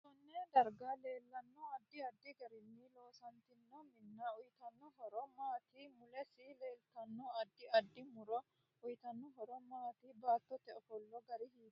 Konne darga leelanno addi addi garinni loosantino minna uyiitanno horo maati mulesi leeltanno addi addi muro uyiitano horo maati baatote ofola gari hiitooho